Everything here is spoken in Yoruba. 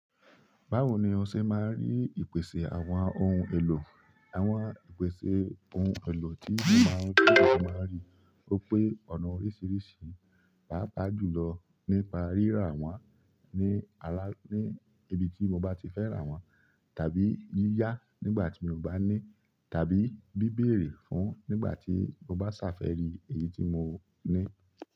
Báwo ni ọ ṣẹ máa n rí ìpèsè àwọn ohun èlò? Àwọn ìpèsè ohun èlò tí mo máa n rí, tí mo máa rí ó pé ọ̀nà oríṣiríṣi, pàápàá jù lọ nípa rírà wọ́n ní ala-- ní ibi tí mo bá ti fẹ́ rà wọ́n, tàbí yíyá nígbà tí mi o bá ní, tàbí bí bẹ̀erẹ̀ fún nígbà tí mo bá ṣàfẹ́ri èyí tí mo ní.